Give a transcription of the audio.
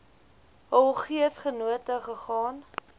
hul geesgenote gegaan